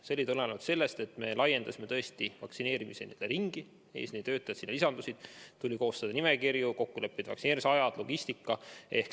See tulenes sellest, et me laiendasime vaktsineeritavate ringi, lisandus eesliinitöötajaid, tuli koostada nimekirju, kokku leppida vaktsineerimise aegu, korraldada logistikat.